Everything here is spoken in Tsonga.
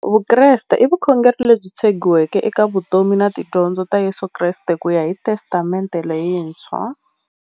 Vukreste i vukhongeri lebyi tshegiweke eka vutomi na tidyondzo ta Yesu Kreste kuya hi Testamente leyintshwa.